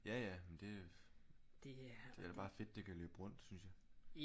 Ja ja det det er bare fedt det kan løbe rundt synes jeg